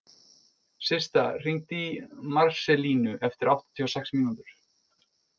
Systa, hringdu í Marselínu eftir áttatíu og sex mínútur.